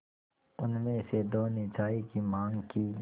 उनमें से दो ने चाय की माँग की